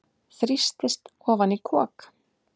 Þrýstist ofan í kok.